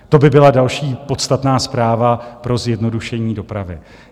To by byla další podstatná zpráva pro zjednodušení dopravy.